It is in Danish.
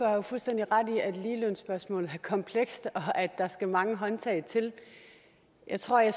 jo fuldstændig ret i at ligelønsspørgsmålet er komplekst og at der skal mange håndtag til jeg tror at